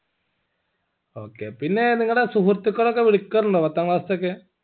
okay പിന്നെ നിങ്ങടെ സുഹൃത്തുക്കൾ ഒക്കെ വിളിക്കാറുണ്ടോ പത്താം class ത്തെ ഒക്കെ